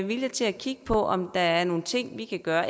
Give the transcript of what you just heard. vilje til at kigge på om der er nogle ting vi kan gøre